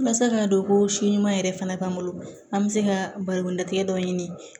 Walasa k'a dɔn ko si ɲuman yɛrɛ fana b'an bolo an bɛ se ka balimamulatigɛ dɔ ɲini